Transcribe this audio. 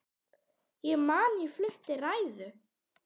Ég man ég flutti ræðu.